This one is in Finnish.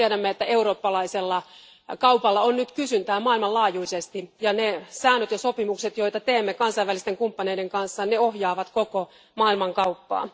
Tiedämme, että eurooppalaisella kaupalla on nyt kysyntää maailmanlaajuisesti, ja ne säännöt ja sopimukset, joita teemme kansainvälisten kumppaneiden kanssa, ohjaavat koko maailmankauppaa.